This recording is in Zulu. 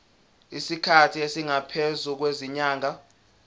isikhathi esingaphezulu kwezinyanga